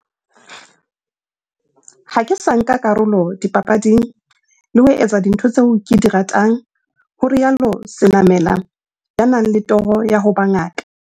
"Ha ke sa nka karolo dipapading, le ho etsa dintho tseo ke di ratang," ho rialo Senamela, ya nang le toro ya ho ba ngaka.